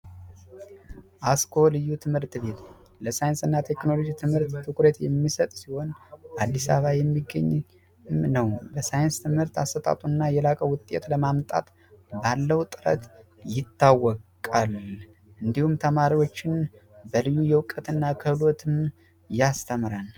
አስኮ ልዩ ትምህርት ቤት ለሳይንስና ቴክኖሎጂ ልዩ ትኩረት የሚሰጥ ሲሆን አዲስ አበባ የሚገኘውም ነው በሳይንስ ትምህርት አሰጣጡ ከፍተኛ ውጤት ለማምጣት ባለው ጥረት ይታወቃል እንዲሁም ተማሪዎችን በልዩ ዕውቀትና ክህሎት ያስተምራል።